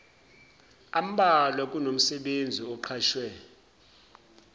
ambalwa kunomsebenzi oqashwe